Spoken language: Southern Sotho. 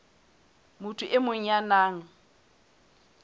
motho e mong ya nang